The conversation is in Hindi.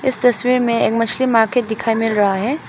इस तस्वीर में एक मछली मार्केट दिखाई मिल रहा है।